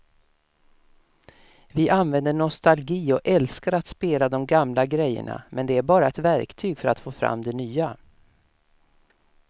Vi använder nostalgi och älskar att spela de gamla grejerna men det är bara ett verktyg för att få fram det nya.